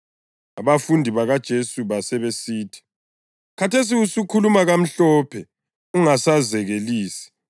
Abafundi bakaJesu basebesithi, “Khathesi usukhuluma kamhlophe ungasazekelisi.